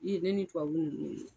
Ni ne tubabuw